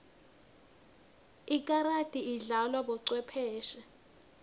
ikarati idlalwa bocwepheshe